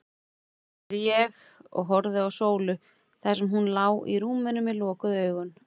spurði ég, og horfði á Sólu þar sem hún lá í rúminu með lokuð augu.